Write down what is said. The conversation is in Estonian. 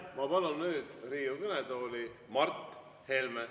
Ma palun nüüd Riigikogu kõnetooli Mart Helme.